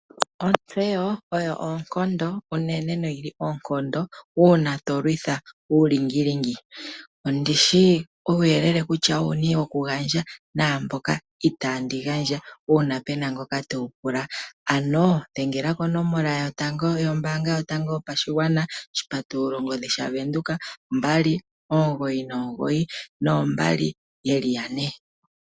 Ontseyo oyo oonkondo unene noyi li oonkondo uuna to kondjitha uulingilingi. Ondi shi uuyele kutya owuni po ndi na okugandja naamboka itaandi gandja uuna pe na ngoka te wu pula ano dhengela konomola yombaanga yotango yopadhigwana 0612992222